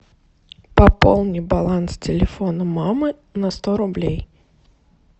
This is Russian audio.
пополни баланс телефона мамы на сто рублей